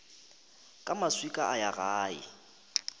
ka maswika a ya gae